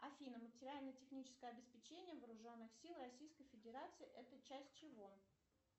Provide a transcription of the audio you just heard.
афина материально техническое обеспечение вооруженных сил российской федерации это часть чего